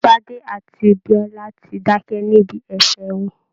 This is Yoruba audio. Bade àti Biola ti dákẹ́ níbi ẹ̀fẹ̀ wọn